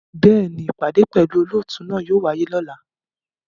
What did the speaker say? Bẹ́ẹ̀ni, ipade pẹlu olootu náa yóò waye lọla